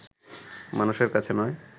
মানুষের কাছে নয়